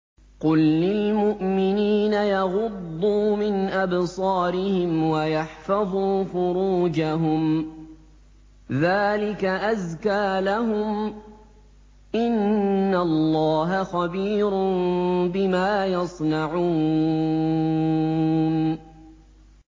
قُل لِّلْمُؤْمِنِينَ يَغُضُّوا مِنْ أَبْصَارِهِمْ وَيَحْفَظُوا فُرُوجَهُمْ ۚ ذَٰلِكَ أَزْكَىٰ لَهُمْ ۗ إِنَّ اللَّهَ خَبِيرٌ بِمَا يَصْنَعُونَ